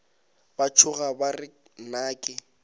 ba tšhoga ba re nnake